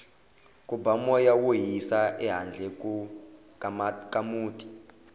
ku ba moya wo hisa ehandle ka muti